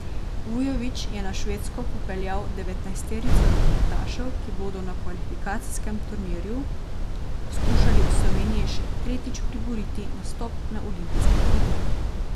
Vujović je na Švedsko popeljal devetnajsterico rokometašev, ki bodo na kvalifikacijskem turnirju skušali Sloveniji še tretjič priboriti nastop na olimpijskih igrah.